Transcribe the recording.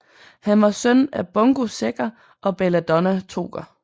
Han var søn af Bungo Sækker og Belladonna Toker